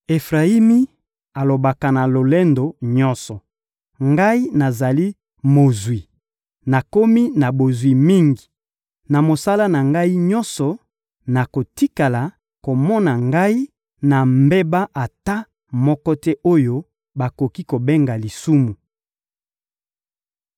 Efrayimi alobaka na lolendo nyonso: «Ngai nazali mozwi, nakomi na bozwi mingi. Na mosala na Ngai nyonso, bakotikala komona Ngai na mbeba ata moko te oyo bakoki kobenga lisumu.»